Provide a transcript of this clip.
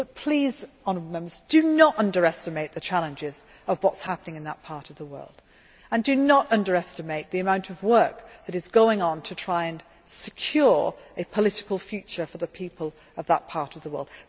But please, honourable Members, do not underestimate the challenges of what is happening in that part of the world and do not underestimate the amount of work that is going on to try and secure a political future for the people of that part of the world.